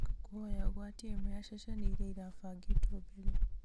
nĩ ngũkũhoya ũgwatie imwe ya ceceni iria irabangĩtwo mbere